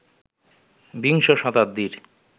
বিংশ শতাব্দীর